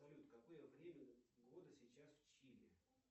салют какое время года сейчас в чили